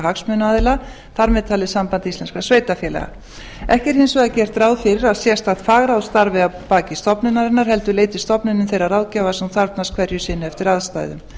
hagsmunaaðila þar með talið samband íslenskra sveitarfélaga ekki er hins vegar gert ráð fyrir að sérstakt fagráð starfi að baki stofnunarinnar heldur leiti stofnunin þeirrar ráðgjafar sem hún þarfnast hverju sinni eftir aðstæðum